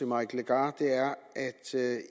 mike legarth